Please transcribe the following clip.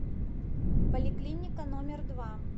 поликлиника номер два